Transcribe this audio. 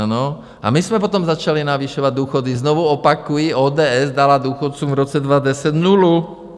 Ano a my jsme potom začali navyšovat důchody, znovu opakuji, ODS dala důchodcům v roce 2010 nulu.